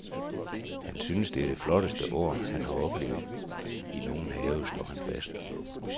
Han synes det er det flotteste år, han har oplevet i nogen have, slår han fast.